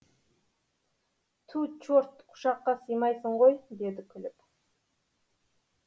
ту черт құшаққа сыймайсың ғой деді күліп